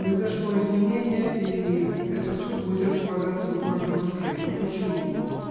произошло изменение и этот суд будет располагаться в городе москве вот почему